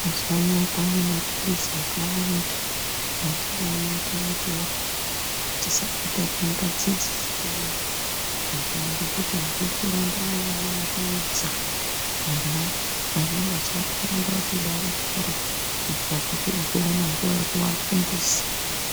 Mazuwaanaya kwane mapilizi akawanda amweni anoita kuti antu tisabata mimbadzi dziriyo eya ngekuti azvidi kuramba worudza ana, ana mazuwano anoda kuti bare bare kurira kuti uzoona nguwa yekuafundisa.